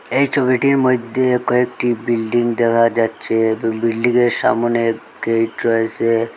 এই ছবিটির মইধ্যে কয়েকটি বিল্ডিং দেখা যাচ্ছে ওই বিল্ডিংয়ের সামোনে গেট রয়েসে ।